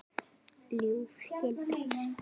ljúf skylda.